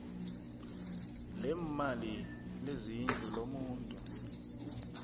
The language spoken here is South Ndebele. leemali lezindlu lomuntu